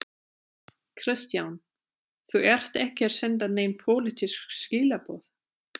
Kristján: Þú ert ekki að senda nein pólitísk skilaboð?